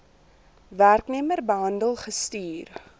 werknemer behandel gestuur